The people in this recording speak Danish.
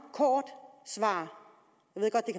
kort svar